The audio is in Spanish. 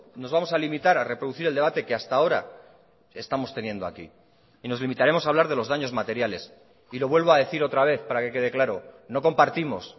nos vamos a limitar a reproducir el debate que hasta ahora estamos teniendo aquí y nos limitaremos a hablar de los daños materiales y lo vuelvo a decir otra vez para que quede claro no compartimos